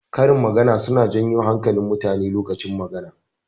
Karin magana suna janyo hankalin mutane lokacin magana.